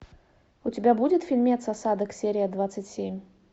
у тебя будет фильмец осадок серия двадцать семь